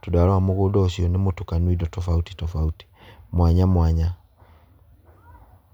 tondũ warora mũgũnda ũcio nĩ mũtukanu indo tofauti tofauti, mwanya mwanya.